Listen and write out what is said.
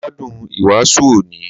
Mo gbádùn ìwàásù òní